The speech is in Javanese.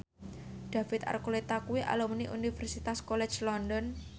David Archuletta kuwi alumni Universitas College London